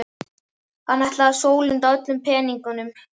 Hann ætlaði að sólunda öllum peningunum.